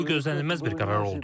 Bu gözlənilməz bir qərar oldu.